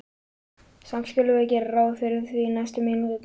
Samt skulum við gera ráð fyrir því næstu mínúturnar.